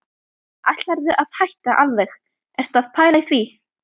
Ætlarðu að hætta alveg. ertu að pæla í því?